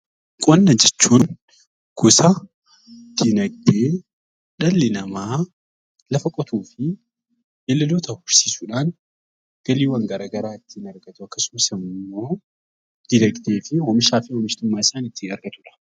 Qonna jechuun gosa dinagdee dhalli namaa lafa qotuu fi beeyladoota horsiisuudhaan galiiwwan gara garaa ittiin argatu akkasumas immoo dinagdee fi oomishaa fi oomishtummaa isaa ittiin argatudha.